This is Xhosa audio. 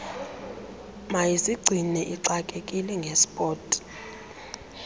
mayizigcine ixakekile ngesport